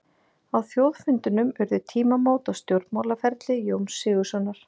Á þjóðfundinum urðu tímamót á stjórnmálaferli Jóns Sigurðssonar.